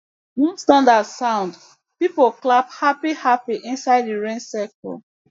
once thunder sound people clap happyhappy inside the rain circle